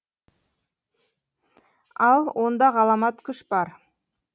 ал онда ғаламат күш бар